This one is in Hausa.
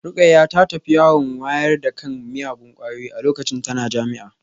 Rukayyah ta tafi yawon wayar da kan miyagun kwayoyi a lokacin tana jami'a